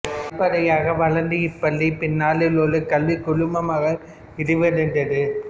படிப்படியாக வளர்ந்த இப்பள்ளி பின்னாளில் ஒரு கல்விக் குழுமமாக விரிவடைந்தது